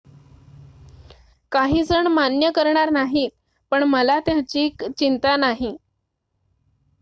"""काहीजण मान्य करणार नाही पण मला त्याची चिंता नाही.